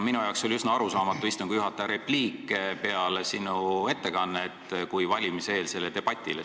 Mulle jäi üsna arusaamatuks istungi juhataja repliik peale sinu ettekannet, kui ta viitas valimiseelsele debatile.